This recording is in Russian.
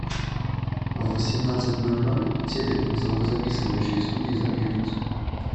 в восемнадцать ноль ноль телек в звукозаписывающей студии замьютить